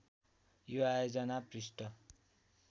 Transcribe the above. यो आयोजना पृष्ठ